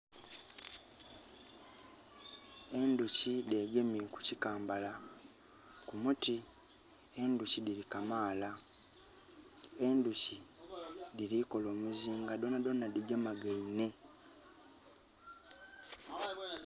Endhoki dhegemye ku kikambala, kumuti. Endhoki dhili kamaala. Endhoki dhili kola omuzinga, dhona dhona dhigemagainhe.